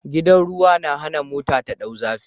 Gidan ruwa na hana mota ta dau zafi